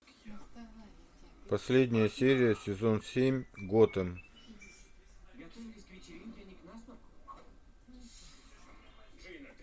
последняя серия сезон семь готэм